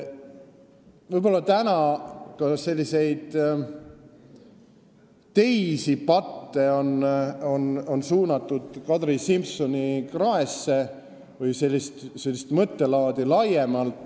Võib-olla on täna ka teisi patte või sellist mõttelaadi laiemalt Kadri Simsoni kraesse suunatud.